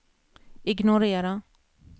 ignorera